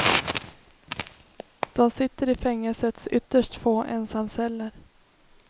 De sitter i fängelsets ytterst få ensamceller.